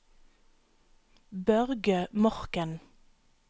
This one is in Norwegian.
Børge Morken